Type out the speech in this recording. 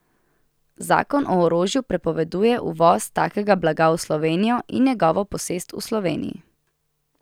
Zakon o orožju prepoveduje uvoz takega blaga v Slovenijo in njegovo posest v Sloveniji.